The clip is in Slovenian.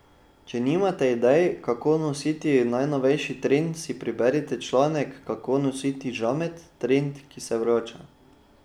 Če nimate idej, kako nositi najnovejši trend, si preberite članek Kako nositi žamet, trend, ki se vrača.